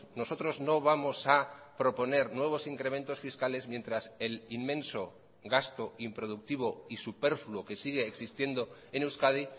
nosotros no vamos a proponer nuevos incrementos fiscales mientras el inmenso gasto improductivo y superfluo que sigue existiendo en euskadi